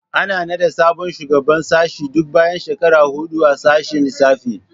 Ana naɗa sabon shugaban sashe duk bayan shekara huɗu a sashen lissafi